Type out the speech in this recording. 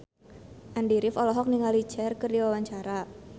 Andy rif olohok ningali Cher keur diwawancara